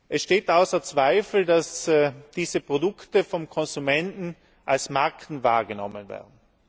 Es steht außer Zweifel, dass diese Produkte vom Konsumenten als Marken wahrgenommen werden.